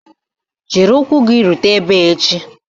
Jiri ụkwụ gị rute ebe a echi!